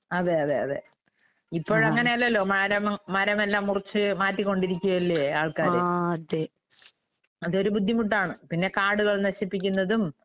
അതെയതെയതെ. ഇപ്പോഴങ്ങനെയല്ലല്ലോ മരവും മരമെല്ലാം മുറിച്ച് മാറ്റിക്കൊണ്ടിരിക്കയല്ലേ ആൾക്കാര്. അതൊരു ബുദ്ധിമുട്ടാണ്. പിന്നെ കാടുകൾ നശിപ്പിക്കുന്നതും